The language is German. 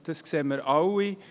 das sehen wir alle.